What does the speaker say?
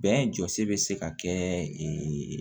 Bɛn jɔsi bɛ se ka kɛ